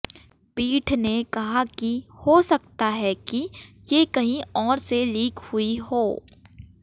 पीठ ने कहा कि हो सकता है कि ये कहीं और से लीक हुई हो